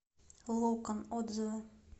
локон отзывы